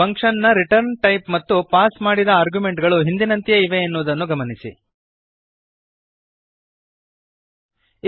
function ನ return type ಮತ್ತು pass ಮಾಡಿದ ಆರ್ಗ್ಯುಮೆಂಟ್ಗಳು ಹಿಂದಿನಂತೆಯೇ ಇವೆ ಎನ್ನುವುದನ್ನು ಗಮನಿಸಿರಿ